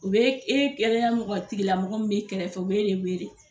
U be e kɛlɛya mɔgɔ tigi lamɔgɔ min be kɛrɛfɛ u be de wele.